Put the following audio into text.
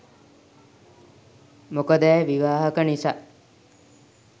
මොකද ඇය විවාහක නිසා.